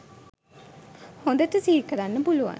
හොඳට සිහිකරන්න පුළුවන්